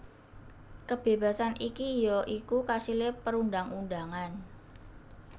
Kebébasan iki ya iku kasilé perundang undangan